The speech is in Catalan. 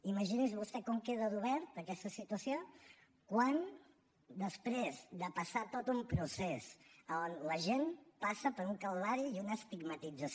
imagini’s vostè com queda d’oberta aquesta situació quan després de passar tot un procés a on l’agent passa per un calvari i una estigmatització